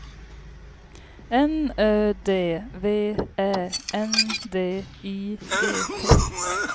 N Ö D V Ä N D I G T